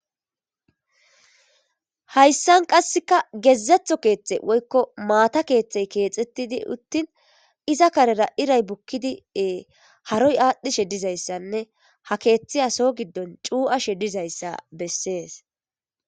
Hayssan qasseka gezzeththo keththe woykko maata keththey kexxetidi uttin iiza karera iiray buukidi e haaroy adhdhishe dizayssane ha keththeyiya soho giddon cuuiashe diizayssa besses.